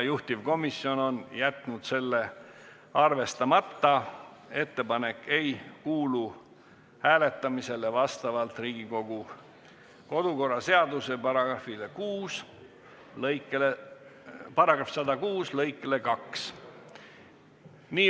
Juhtivkomisjon on jätnud selle arvestamata ja ettepanek ei kuulu hääletamisele vastavalt kodukorraseaduse § 106 lõikele 2.